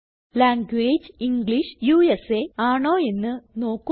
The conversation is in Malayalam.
ലാംഗ്വേജ് ഇംഗ്ലിഷ് ഉസ ആണോ എന്ന് നോക്കുക